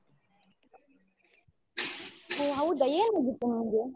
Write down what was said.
ಹೊ ಹೌದ ಏನ್ ಆಗಿತ್ತು ನಿಂಗೆ?